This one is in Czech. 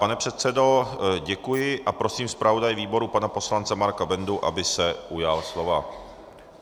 Pane předsedo, děkuji a prosím zpravodaje výboru pana poslance Marka Bendu, aby se ujal slova.